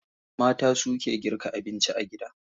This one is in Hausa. Mata suke girka abinci a gida.